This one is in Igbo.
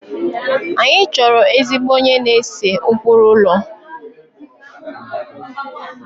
Anyị chọrọ ezigbo onye na-ese ụkpụrụ ụlọ